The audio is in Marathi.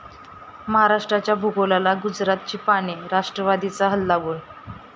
महाराष्ट्राच्या भूगोलाला गुजरातची पाने? राष्ट्रवादीचा हल्लाबोल